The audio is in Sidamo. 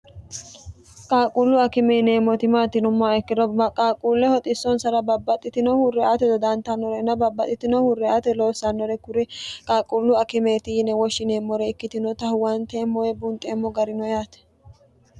qaaqquullu akime yineemmoti maati yinummoa ikkiro qaaqquulleho xissonsara babbaxxitinohu reate dodantannore ina babbaxxitinohu reyate loossannore kuri qaaquullu akimeeti yine woshshineemmore ikkitinota huwanteemmoe bunxeemmo garino yaate